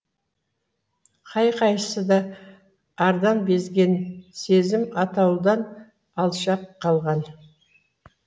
қай қайсысы да ардан безген сезім атаулыдан алшақ қалған